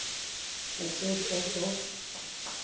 excess as of